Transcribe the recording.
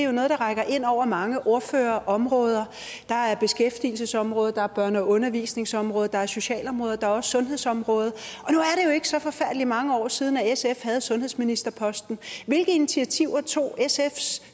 er noget der rækker ind over mange ordførerområder der er beskæftigelsesområdet der er børne og undervisningsområdet der er socialområdet der er også sundhedsområdet og ikke så forfærdelig mange år siden at sf havde sundhedsministerposten hvilke initiativer tog sfs